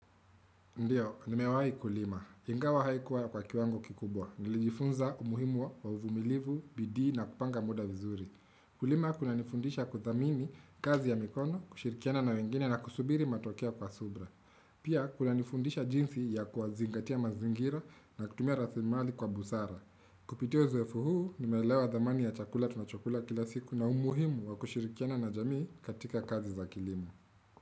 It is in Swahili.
Ndiyo, nimewahi Kulima. Ingawa haikuwa kwa kiwango kikubwa. Nilijifunza umuhimu wa uvumilivu, bidii na kupanga muda vizuri. Kulima kunanifundisha kuthamini kazi ya mikono, kushirikiana na wengine na kusubiri matokea kwa subira. Pia kunanifundisha jinsi ya kuyazingatia mazingira na kutumia rasilimali kwa busara. Kupitia uzoefu huu, nimeelewa dhamani ya chakula tunachokula kila siku na umuhimu wa kushirikiana na jamii katika kazi za kilimo.